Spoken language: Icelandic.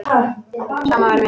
Sama væri mér.